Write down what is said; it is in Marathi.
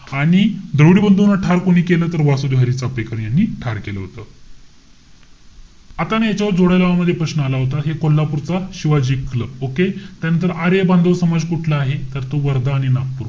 आणि द्रविड बंधूना ठार कोणी केलं तर वासुदेव हरी चाफेकर यांनी ठार केलं होतं. आता ना याच्यावर, जोड्या लावा मध्ये एक प्रश्न आला होता. हे कोल्हापूरचा शिवाजी क्लब. Okay? त्यानंतर आर्य बांधव समाज कुठला आहे? तर तो वर्धा आणि नागपूर.